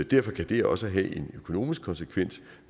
derfor kan det også have en økonomisk konsekvens